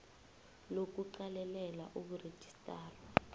lo kuqalelela ukurejistarwa